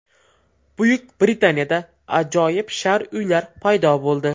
Buyuk Britaniyada ajoyib shar uylar paydo bo‘ldi.